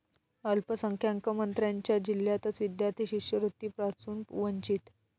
अल्पसंख्याक मंत्र्यांच्या जिल्ह्यातच विद्यार्थी शिष्यवृत्तीपासून वंचित